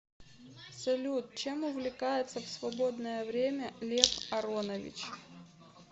салют чем увлекается в свободное время лев аронович